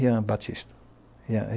Rian Batista.